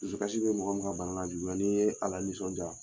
Dusukasi bɛ mɔgɔ min ka bana la juguya n'i ye ala nisɔndiya.